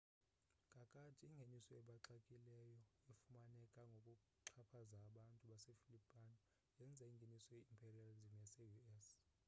kakade ingeniso ebaxekileyo efumaneke ngokuxhaphaza abantu base filipino yenza ingeniso ye imperialism yase u.s